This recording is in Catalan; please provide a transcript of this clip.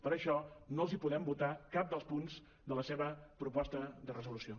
per això no els podem votar cap dels punts de la seva proposta de resolució